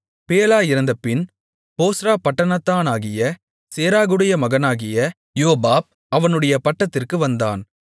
Bela இறந்தபின் போஸ்றா பட்டணத்தானாகிய சேராகுடைய மகனாகிய யோபாப் அவனுடைய பட்டத்திற்கு வந்தான்